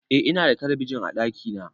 Eh Ina da talabijin a ɗakina